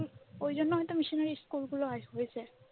ওই জন্য হয়তো মিশনারি স্কুলগুলো আসবে হয়েছে।